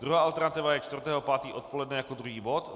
Druhá alternativa je 4. 5. odpoledne jako druhý bod.